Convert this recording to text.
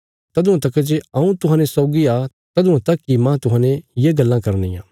तदुआं तका जे हऊँ तुहांजो सौगी आ तदुआं तका इ मांह तुहांजो ये गल्लां करनियां